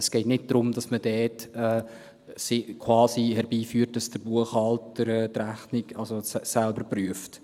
Es geht nicht darum, dass man quasi herbeiführt, dass der Buchhalter die Rechnung selber prüft.